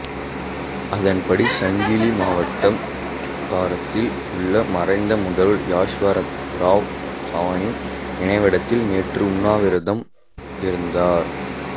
அதன்படி சாங்கிலி மாவட்டம் காரத்தில் உள்ள மறைந்த முதல்வர் யஸ்வந்த்ராவ் சவானின் நினைவிடத்தில் நேற்று உண்ணாவிரதம் இருந்தார்